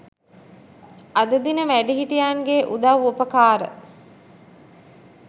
අද දින වැඩිහිටියන්ගේ උදව් උපකාර